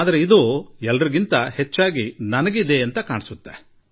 ಆದರೆ ಅದು ನನಗೇ ಹೆಚ್ಚು ಅನ್ವಯಿಸುತ್ತದೆ ಎಂದು ನನಗನ್ನಿಸುತ್ತದೆ